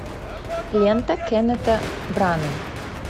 лента кеннета браны